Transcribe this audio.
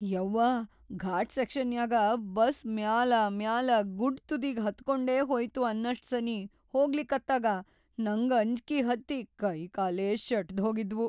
ಯವ್ವಾ ಘಾಟ್‌ ಸೆಕ್ಷನ್ಯಾಗ ಬಸ್‌ ಮ್ಯಾಲಾಮ್ಯಾಲಾ ಗುಡ್ಡ್‌ ತುದಿಗಿ ಹತ್ಕೊಂಡೇ ಹೋಯ್ತು ಅನ್ನಷ್ಟ್ ಸನೀ ಹೋಗ್ಲಿಕತ್ತಾಗ ನಂಗ್ ಅಂಜ್ಕಿ ಹತ್ತಿ ಕೈಕಾಲೇ ಶೆಟದ್ಹೋಗಿದ್ವು.